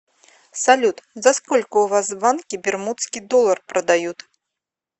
салют за сколько у вас в банке бермудский доллар продают